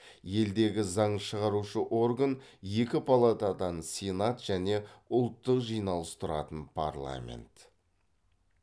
елдегі заң шығарушы орган екі палатадан сенат және ұлттық жиналыс тұратын парламент